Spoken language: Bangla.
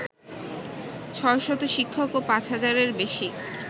৬শত শিক্ষক এবং ৫ হাজারের বেশি